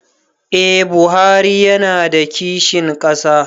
Eh buhari yana da kishin ƙasa